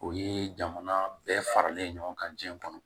O ye jamana bɛɛ faralen ɲɔgɔn kan jiɲɛ kɔnɔ